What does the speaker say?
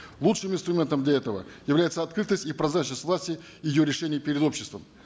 лучшим инстурментом для этого является открытость и прозрачность власти и ее решений перед обществом